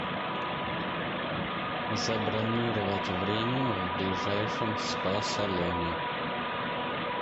забронировать время в ближайшем спа салоне